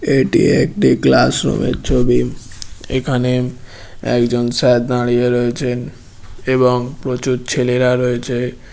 এটি একটি classroom -এর ছবি এখানে একজন স্যার দাঁড়িয়ে রয়েছেন এবং প্রচুর ছেলেরা রয়েছে।